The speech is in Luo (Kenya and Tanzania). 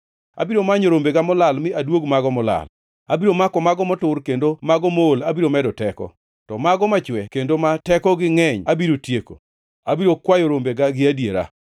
Abiro manyo rombega molal mi aduog mago molal. Abiro mako mago motur kendo mago mool abiro medo teko, to mago machwe kendo ma tekogi ngʼeny abiro tieko. Abiro kwayo rombega gi adiera.